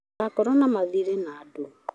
Ndũgakorwo na mathirĩ na andũ